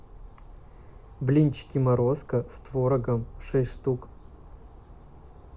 блинчики морозко с творогом шесть штук